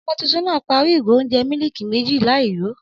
Ọmọ tuntun náà parí ìgò óúnjẹ miliki méjì láì yó